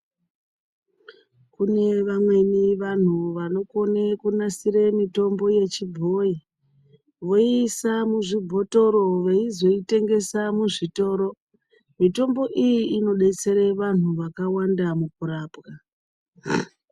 Kune vamweni vanhu vanokone kunasire mitombo ye chibhoyi voisa mu zvibhotoro veizo itengese muzvitoro mitombo iyi ino detsera vanhu vakawanda mukurapwa.